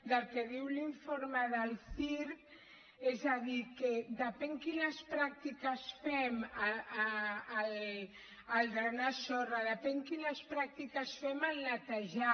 del que diu l’informe del ciirc és a dir que depèn quines pràctiques fem al drenar sorra depèn quines practiques fem al netejar